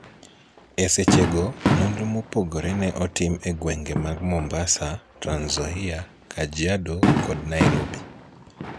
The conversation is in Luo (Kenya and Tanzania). E seche go, nonro mopogre ne otim e gwenge mag Mombasa, Trans-Nzoia, Kajiado, kod Nairobi